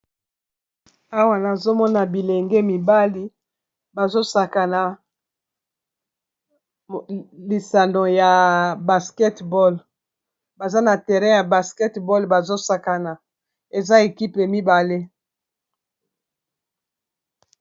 awa nazomona bilenge mibali bazosaka na lisando ya basketball baza na teren ya basketball bazosakana eza ekipe mibale